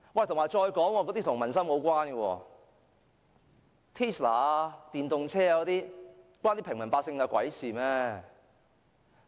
再說這措施跟民生無關，試問 Tesla 電動車與平民百姓有何關係？